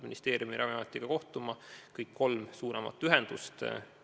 Ministeeriumi ja Ravimiametiga on oodatud kohtuma kõik kolm suuremat ühendust.